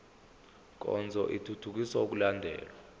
nkonzo ithuthukisa ukulandelwa